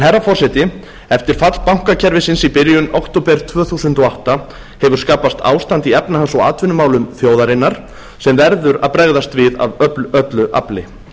herra forseti eftir fall bankakerfisins í byrjun október tvö þúsund og átta hefur skapast ástand í efnahags og atvinnumálum þjóðarinnar sem verður að bregðast við af öllu afli